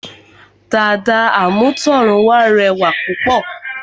Dàda àmútọ̀runwá rẹwà púpọ̀